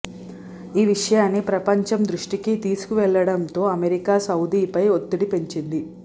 ఈ విషయాన్ని ప్రపంచం దృష్టికి తీసుకెళ్లడంతో అమెరికా సౌదీపై ఒత్తిడి పెంచింది